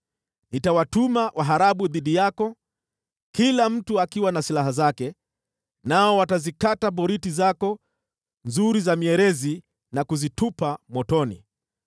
Nitawatuma waharabu dhidi yako, kila mtu akiwa na silaha zake, nao watazikata boriti zako nzuri za mierezi na kuzitupa motoni.